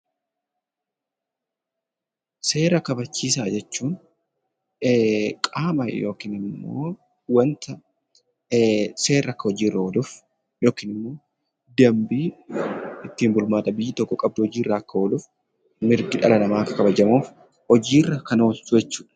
Seera kabachiisaa jechuun qaama (wanta) seerri akka hojiirra ooluuf yookiin dambiin ittiin bulmaata biyyi tokko qabdu hojiirra akka ooluuf, mirgi dhala namaa akka kabajamuuf hojiirra kan oolchu jechuu dha.